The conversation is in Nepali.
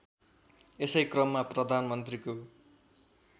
यसै क्रममा प्रधानमन्त्रीको